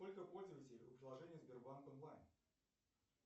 сколько пользователей у приложения сбербанк онлайн